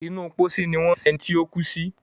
inú pósí wón sìn ení tíó kú sí.